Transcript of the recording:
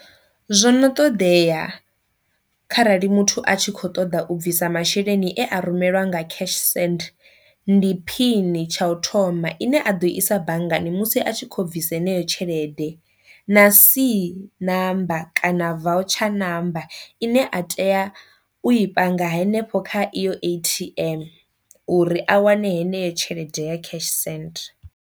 Zwono ṱoḓea kha rali muthu a tshi kho ṱoḓa u bvisa masheleni e a rumeliwa nga cash send, ndi phini tsha u thoma ine a ḓo i isa banngani musi a tshi kho bvisa heneyo tshelede na c number kana voucher number ine a tea u i panga hanefho kha iyo A_T_M uri a wane heneyo tshelede ya cash send.